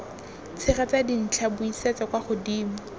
tshegetsa dintlha buisetsa kwa godimo